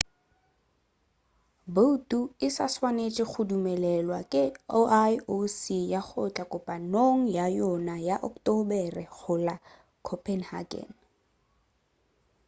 boutu e sa swanetše go dumelelwa ke ioc ya go tla kopanong ya yona ya ocktobere go la copenhagen